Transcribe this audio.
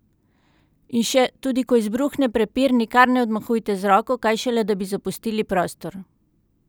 In še, tudi ko izbruhne prepir, nikar ne odmahujte z roko, kaj šele da bi zapustili prostor!